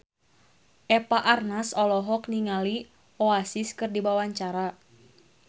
Eva Arnaz olohok ningali Oasis keur diwawancara